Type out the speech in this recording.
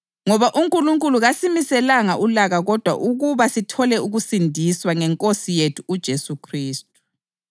Ngoba uNkulunkulu kasimiselanga ulaka kodwa ukuba sithole ukusindiswa ngeNkosi yethu uJesu Khristu.